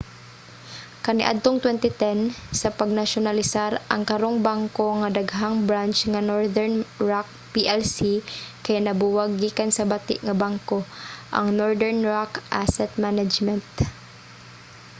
kaniadtong 2010 sa pagnasyonalisar ang karong bangko nga daghang branch nga northern rock plc kay nabuwag gikan sa 'bati nga bangko' ang northern rock asset management